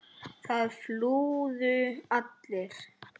Það flúðu allir.